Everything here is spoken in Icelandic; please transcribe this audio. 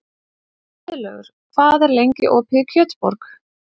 Friðlaugur, hvað er lengi opið í Kjötborg?